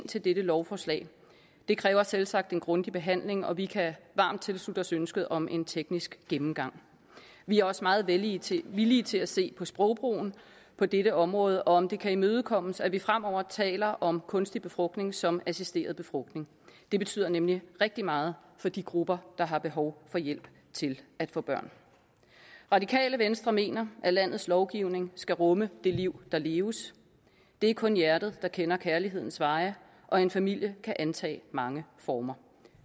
til dette lovforslag det kræver selvsagt en grundig behandling og vi kan varmt tilslutte os ønsket om en teknisk gennemgang vi er også meget villige til villige til at se på sprogbrugen på dette område og om det kan imødekommes at vi fremover taler om kunstig befrugtning som assisteret befrugtning det betyder nemlig rigtig meget for de grupper der har behov for hjælp til at få børn radikale venstre mener at landets lovgivning skal rumme det liv der leves det er kun hjertet der kender kærlighedens veje og en familie kan antage mange former